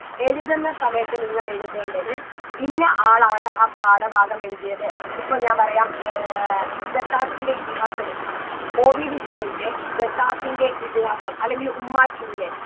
എഴുതുന്ന സമയത്ത് നിങ്ങൾ എഴുതേണ്ടത് ഇന്ന ആളാണ് ആ പാഠഭാഗമെഴുതിയത് ഇപ്പൊ ഞാൻ പറയാ ഏർ ഖസാക്കിൻറെ ഇതിഹാസെടുക്കുക OV വിജയൻറെ ഖസാക്കിൻറെ ഇതിഹാസം അല്ലെങ്കിൽ ഉമ്മാച്ചുവിലെ